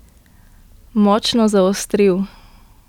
Močno zaostril.